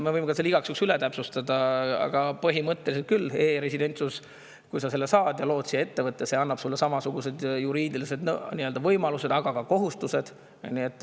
Ma võin selle igaks juhuks üle täpsustada, aga põhimõtteliselt küll, kui sa saad e-residentsuse ja lood siia ettevõtte, siis see annab sulle samasugused juriidilised võimalused, aga ka kohustused.